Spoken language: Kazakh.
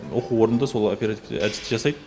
оқу орында сол оперативті әдісті жасайды